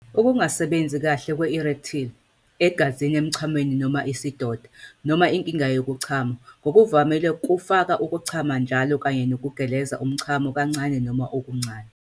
Ukungasebenzi kahle kwe-erectile, igazi emchamweni noma isidoda, noma inkinga yokuchama - ngokuvamile kufaka ukuchama njalo kanye nokugeleza umchamo kancane noma okuncane.